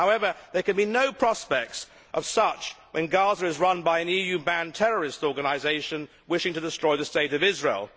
However, there can be no prospects of such when Gaza is run by an EU banned terrorist organisation wishing to destroy the state of Israel.